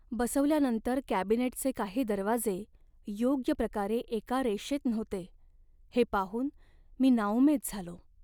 बसवल्यानंतर कॅबिनेटचे काही दरवाजे योग्य प्रकारे एका रेषेत नव्हते हे पाहून मी नाउमेद झालो.